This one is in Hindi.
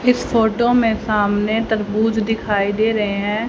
इस फोटो में सामने तरबूज दिखाई दे रहे हैं।